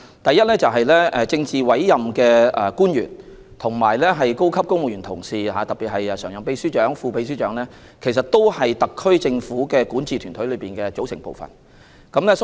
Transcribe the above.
第一，政治委任官員及高級公務員，特別是常任秘書長及副秘書長，都是特區政府管治團隊的組成部分。